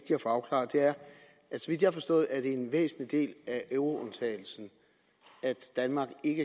har forstået er det en væsentlig del af euroundtagelsen at danmark ikke